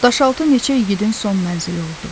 Daşaltı neçə igidin son mənzili oldu.